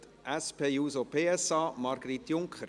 Für die SP-JUSO-PSA, Margrit Junker.